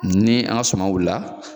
Ni an ga suman wilila